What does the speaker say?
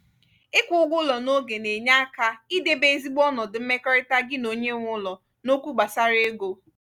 ịkwu ụgwọ ụlọ n'oge na-enye aka idebe ezigbo onodu mmekọrịta gi na onye nwe ụlọ n'okwu gbasara ego